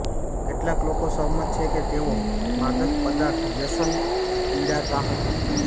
કેટલાક લોકો સહમત છે કે તેઓ માદક પદાર્થ વ્યસન પીડાતા હતા